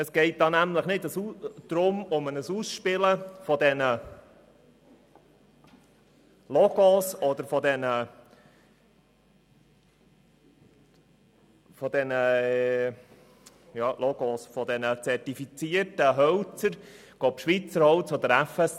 Es geht nämlich nicht um ein Ausspielen der verschiedenen Logos oder Zertifizierungen und um Schweizer Holz gegen FSC-Holz.